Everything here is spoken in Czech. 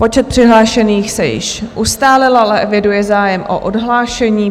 Počet přihlášených se již ustálil, ale eviduji zájem o odhlášení.